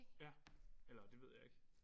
Ja eller det ved jeg ikke